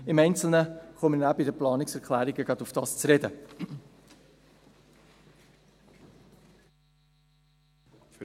Im Einzelnen werde ich bei den Planungserklärungen darauf zu sprechen kommen.